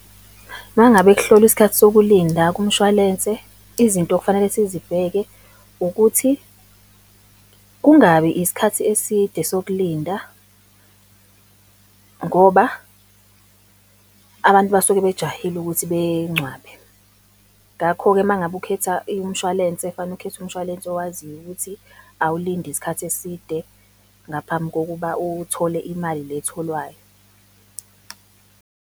Uma ngabe kuhlolwa isikhathi sokulinda kumshwalense, izinto okufanele sizibheke, ukuthi kungabi isikhathi eside sokulinda, ngoba abantu basuke bejahile ukuthi bencwabe. Ngakho-ke uma ngabe ukhetha umshwalense, kufanele ukhethe umshwalense owaziyo ukuthi awulindi isikhathi eside ngaphambi kokuba uthole imali le etholwayo.